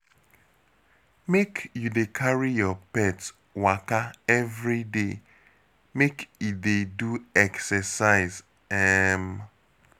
Make you dey carry your pet waka everyday, make e dey do exercise. um